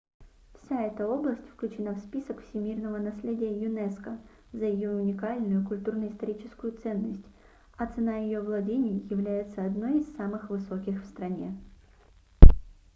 вся эта область включена в список всемирного наследия юнеско за её уникальную культурно-историческую ценность а цена ее владений является одной из самых высоких в стране